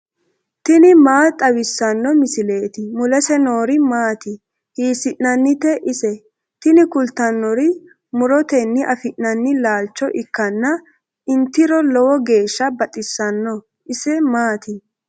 tini maa xawissanno misileeti? mulese noori maati? hiissinannite ise? tini kultannori murotenni afi'nanni laalcho ikkanna intiro lowo geeshsha baxisanno. isi maati?